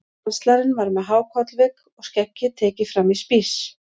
Kanslarinn var með há kollvik og skeggið tekið fram í spíss.